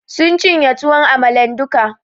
Sun cinye tuwon amalan duka